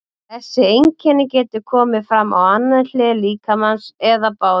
Þessi einkenni geta komið fram á annarri hlið líkamans eða báðum.